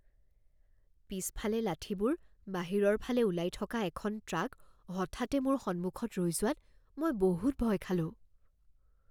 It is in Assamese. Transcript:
পিছফালে লাঠিবোৰ বাহিৰৰ ফালে ওলাই থকা এখন ট্ৰাক হঠাতে মোৰ সন্মুখত ৰৈ যোৱাত মই বহুত ভয় খালোঁ।